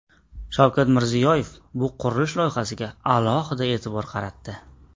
Shavkat Mirziyoyev bu qurilish loyihasiga alohida e’tibor qaratdi.